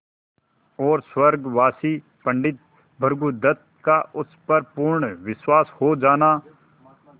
और स्वर्गवासी पंडित भृगुदत्त का उस पर पूर्ण विश्वास हो जाना